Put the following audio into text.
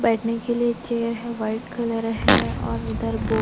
बैठने के लिए चेयर है व्हाईट कलर है और--